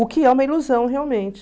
O que é uma ilusão, realmente.